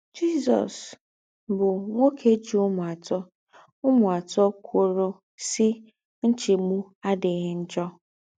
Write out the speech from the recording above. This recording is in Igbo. Jésús, bụ́ nwókè jì úmù àtọ̀ úmù àtọ̀ kwòrò, sí: “ Ńchègbù àdíghì njọ̀. ”